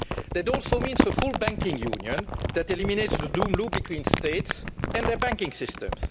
It also means a full banking union that eliminates the doom loop between states and their banking systems.